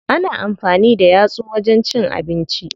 Ana amfani da yatsu wajen cin abinci.